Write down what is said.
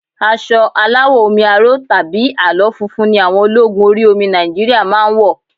Aṣọ aláwọ̀ omi aró tàbí àlọ́ funfun ni àwọn ológun orí omi Nigeria máa ń wọ̀